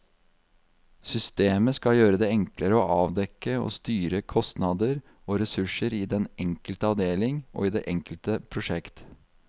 Systemet skal gjøre det enklere å avdekke og styre kostnader og ressurser i den enkelte avdeling og i det enkelte prosjekt.